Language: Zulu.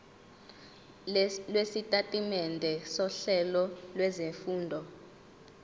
lwesitatimende sohlelo lwezifundo